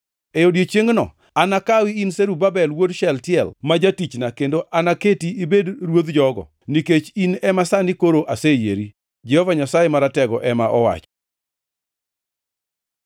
“ ‘E odiechiengno, anakawi in Zerubabel wuod Shealtiel ma jatichna kendo anaketi ibed ruodh jogo, nikech in ema sani koro aseyieri.’ Jehova Nyasaye Maratego ema owacho.”